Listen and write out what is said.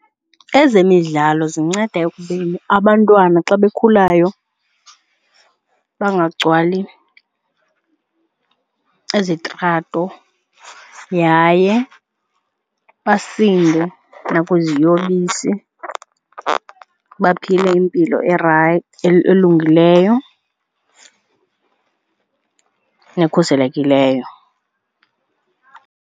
Ezemidlalo zinceda ekubeni abantwana xa bekhulayo bangagcwali izitrato yaye basinde nakwiziyobisi, baphile impilo elungileyo nekhuselekileyo.